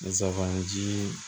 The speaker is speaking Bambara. Zaban ji